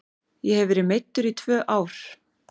Ég hef verið meiddur í tvö ár.